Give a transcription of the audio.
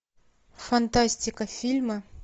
фантастика фильмы